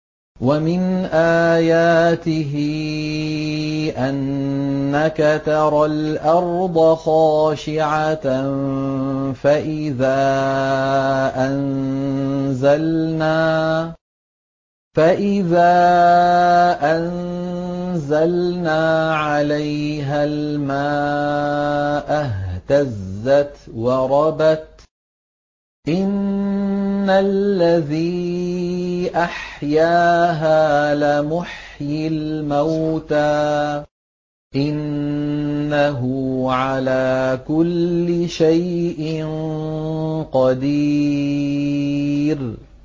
وَمِنْ آيَاتِهِ أَنَّكَ تَرَى الْأَرْضَ خَاشِعَةً فَإِذَا أَنزَلْنَا عَلَيْهَا الْمَاءَ اهْتَزَّتْ وَرَبَتْ ۚ إِنَّ الَّذِي أَحْيَاهَا لَمُحْيِي الْمَوْتَىٰ ۚ إِنَّهُ عَلَىٰ كُلِّ شَيْءٍ قَدِيرٌ